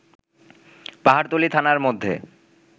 পাহাড়তলী থানার মধ্যে